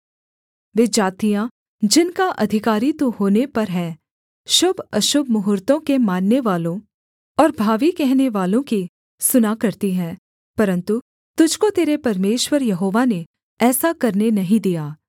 वे जातियाँ जिनका अधिकारी तू होने पर है शुभअशुभ मुहूर्त्तों के माननेवालों और भावी कहनेवालों की सुना करती है परन्तु तुझको तेरे परमेश्वर यहोवा ने ऐसा करने नहीं दिया